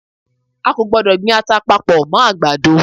A kò gbọdọ̀ gbin ata papọ̀ mọ́ àgbàdo.